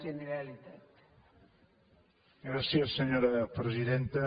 gràcies senyora presidenta